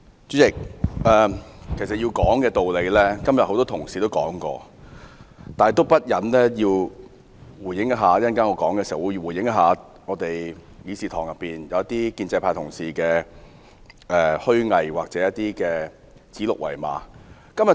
主席，要談的道理，很多同事今天都談了，但我忍不住仍要回應一下議事堂內一些建制派同事虛偽或指鹿為馬的言論。